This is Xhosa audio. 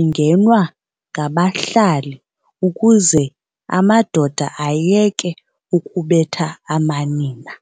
ingenwa ngabahlali ukuze amadoda ayeke ukubetha amanina.